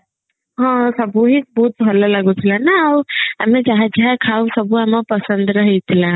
ହଁ ସବୁ ବି ବହୁତ ଭଲ ଲାଗୁଥିଲା ନା ଆଉ ଏମ ଯାହା ଯାହା ଖାଉ ସବୁ ଆମ ପସନ୍ଦର ହେଇଥିଲା